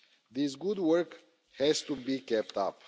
This good work has to be kept up.